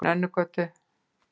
Nönnugötu